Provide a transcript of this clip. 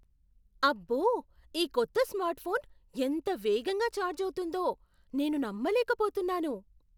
అబ్బో, ఈ కొత్త స్మార్ట్ఫోన్ ఎంత వేగంగా ఛార్జ్ అవుతుందో నేను నమ్మలేకపోతున్నాను!